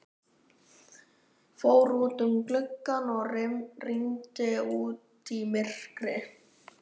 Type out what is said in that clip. Fór út að glugga og rýndi út í myrkrið.